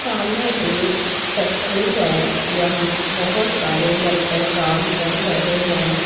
सामने एक फैक्ट्री है यहां बहोत सारे वर्कर काम कर रहे हैं।